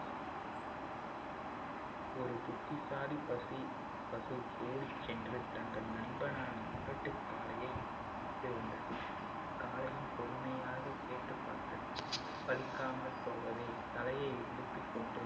ஒரு புத்திசாலி பசி~ பசு ஓடிச்சென்று தங்கள் நண்பனான முரட்டுக் காளையை அழைத்து வந்தது காளையும் பொறுமையாக கேட்டு பார்த்தது. பலிக்காமல் போகவே தலையை உடுப்பிக்கொண்டு